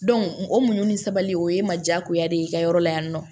o muɲu ni sabali o ye ma jagoya de ye i ka yɔrɔ la yan nɔ